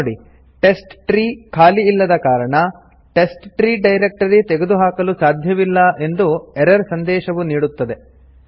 ನೋಡಿ ಟೆಸ್ಟ್ಟ್ರೀ ಖಾಲಿ ಇಲ್ಲದ ಕಾರಣ ಟೆಸ್ಟ್ರೀ ಡೈರಕ್ಟರಿ ತೆಗೆದುಹಾಕಲು ಸಾಧ್ಯವಿಲ್ಲ ಎಂದು ಎರರ್ ಸಂದೇಶವು ನೀಡುತ್ತದೆ